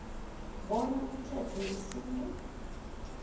bona umthetho wesintu